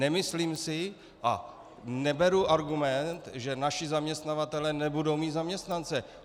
Nemyslím si a neberu argument, že naši zaměstnavatelé nebudou mít zaměstnance.